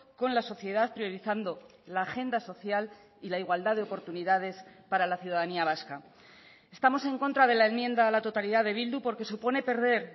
con la sociedad priorizando la agenda social y la igualdad de oportunidades para la ciudadanía vasca estamos en contra de la enmienda a la totalidad de bildu porque supone perder